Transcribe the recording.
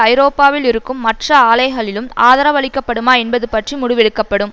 ஐரோப்பாவில் இருக்கும் மற்ற ஆலைகளிலும் ஆதரவழிக்கப்படுமா என்பது பற்றி முடிவெடுக்க படும்